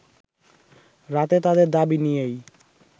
রাতে তাদের দাবি নিয়েই